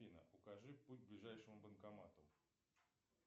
афина укажи путь к ближайшему банкомату